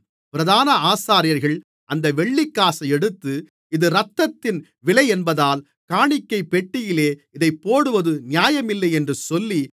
பிரதான ஆசாரியர்கள் அந்த வெள்ளிக்காசை எடுத்து இது இரத்தத்தின் விலையென்பதால் காணிக்கைப்பெட்டியிலே இதைப் போடுவது நியாயமில்லையென்று சொல்லி